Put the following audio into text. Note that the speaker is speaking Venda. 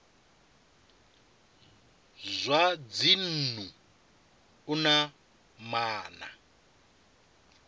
zwa dzinnu u na maana